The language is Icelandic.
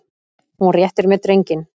Hún réttir mér drenginn.